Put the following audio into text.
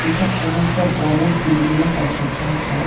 এটা কোনো একটা বড়ো বিল্ডিংয়ের কনস্ট্রাকশন সাইট ।